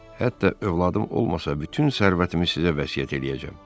Hətta övladım olmasa, bütün sərvətimi sizə vəsiyyət eləyəcəm.